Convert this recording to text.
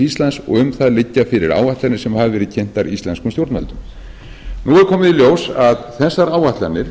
íslands og um það liggja fyrir áætlanir sem hafa verið kynntar íslenskum stjórnvöldum nú er komið í ljós að þessar áætlanir